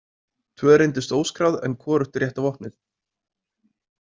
Tvö reyndust óskráð en hvorugt rétta vopnið.